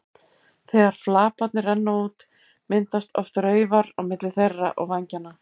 Þegar flaparnir renna út myndast oft raufar milli þeirra og vængjanna.